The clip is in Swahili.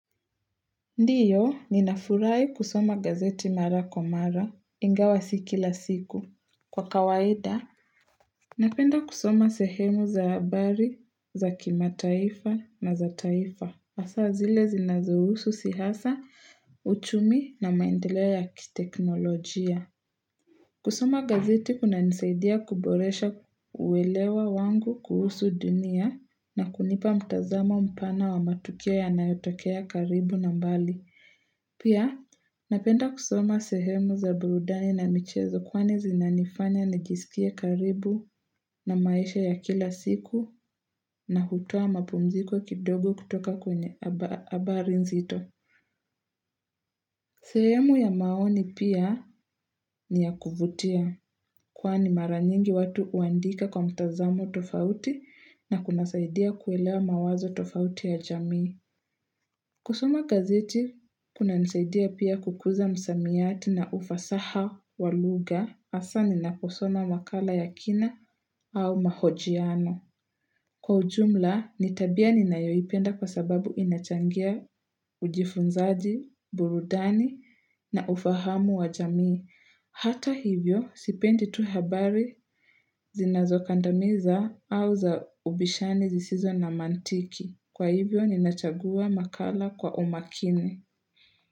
Ndiyo, ninafurahi kusoma gazeti mara kwa mara, ingawa siki la siku. Kwa kawaida, napenda kusoma sehemu za habari, za kimataifa, na za taifa. Asa zile zinazuhusu siasa, uchumi na maendelea ya kiteknolojia. Kusoma gazeti kuna nisaidia kuboresha uwelewa wangu kuhusu dunia na kunipa mtazamo mpana wa matukio yanayotokea karibu na mbali. Pia napenda kusoma sehemu za burudani na michezo kwani zinanifanya nijisikie karibu na maisha ya kila siku na hutoa mapumziko kidogo kutoka kwenye habari nzito. Sehemu ya maoni pia ni ya kuvutia kwane maranyingi watu uandika kwa mtazamo tofauti na kuna saidia kuelewa mawazo tofauti ya jamii. Kusuma gazeti, kuna nsaidia pia kukuza msamiati na ufasaha walugha hasa ninaposoma wakala ya kina au mahojiano. Kwa ujumla, ni tabia ni nayoipenda kwa sababu inachangia ujifunzaji, burudani na ufahamu wa jamii. Hata hivyo, sipendi tu habari zinazokandamiza au za ubishani zisizo na mantiki. Kwa hivyo, ninachagua makala kwa umakini.